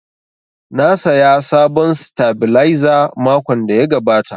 Na saya sabon sitabilizer makon da ya gabata